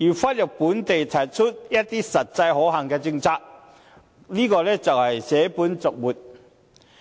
而忽略本地提出的一些實際可行的政策，這就是捨本逐末。